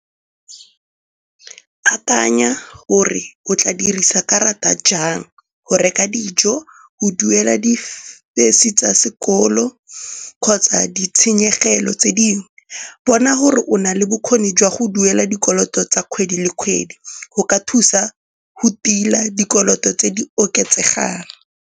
Akanya gore o tla dirisa karata jang go reka dijo, go duela di-fees-e tsa sekolo kgotsa ditshenyegelo tse dingwe. Bona gore o na le bokgoni jwa go duela dikoloto tsa kgwedi le kgwedi, go ka thusa go tila dikoloto tse di oketsegang.